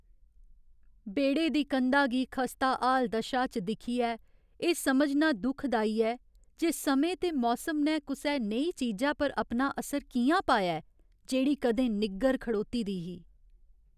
बेह्ड़े दी कंधा गी खस्ताहाल दशा च दिक्खियै, एह् समझना दुखदाई ऐ जे समें ते मौसम ने कुसै नेही चीजा पर अपना असर कि'यां पाया ऐ जेह्ड़ी कदें निग्गर खड़ोती दी ही।